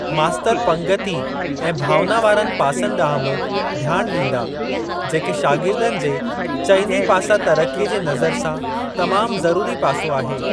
मास्तर पंगिती ऐं भावना वारनि पासनि ॾांहुं बि ध्यान ॾींदा, जेके शागिर्दनि जे चइनी पासा तरक़ीअ जे नज़र सां तमाम ज़रूरी पासो आहे।